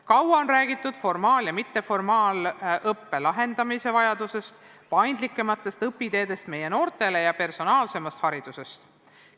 Kaua on räägitud formaal- ja mitteformaalõppe küsimuste lahendamise vajadusest, paindlikumatest õpiteedest meie noortele ja personaalsemast haridusest.